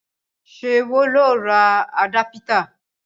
Ṣé wọ ló ra àdápítà?